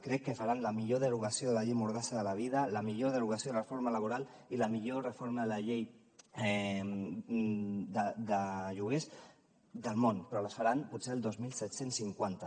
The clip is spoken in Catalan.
crec que faran la millor derogació de la llei mordassa de la vida la millor derogació de la reforma laboral i la millor reforma de la llei de lloguers del món però les faran potser el dos mil set cents i cinquanta